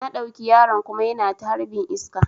Na ɗauki yaron kuma yana ta harbin iska